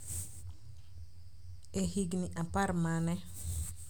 E higini apar ma ne